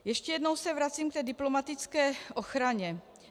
Ještě jednou se vracím k té diplomatické ochraně.